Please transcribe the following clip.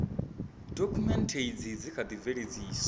dokhumenthe izi dzi kha ḓi bveledziwa